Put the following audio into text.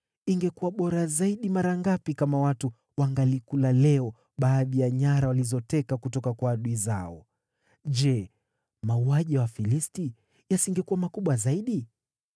Ingekuwa bora zaidi mara ngapi kama watu wangalikula leo baadhi ya nyara walizoteka kutoka kwa adui zao. Je, mauaji ya Wafilisti yasingekuwa makubwa zaidi?”